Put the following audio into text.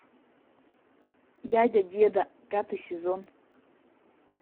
дядя деда пятый сезон